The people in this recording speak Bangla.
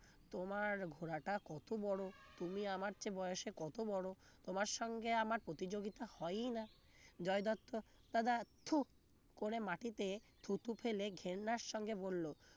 তোমার ঘোড়াটা কত বড় তুমি আমার চেয়ে বয়সে কত বড় তোমার সঙ্গে আমার প্রতিযোগিতা হয়ই না জয় দত্ত দাদা থু করে মাটিতে থুতু ফেলে ঘেন্নার সঙ্গে বলল